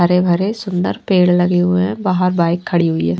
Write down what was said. हरे भरे सुंदर पेड़ लगे हुए हैं बाहर बाइक खड़ी हुई है।